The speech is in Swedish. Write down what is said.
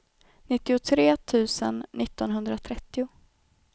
nittiotre tusen niohundratrettio